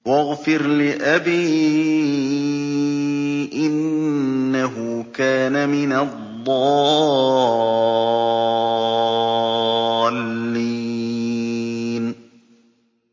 وَاغْفِرْ لِأَبِي إِنَّهُ كَانَ مِنَ الضَّالِّينَ